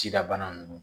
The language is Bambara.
Cida bana ninnu